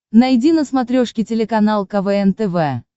найди на смотрешке телеканал квн тв